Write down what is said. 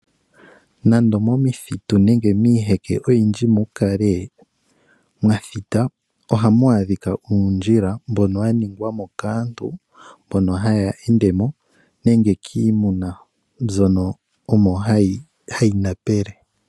Nande omomithitu nenge miiheke oyindji mu kale mwathita, ohamu adhika uundjila mbono wa ningwamo kaantu mbono haya ende mo nenge kiimuna mbyono omo hayi na pele.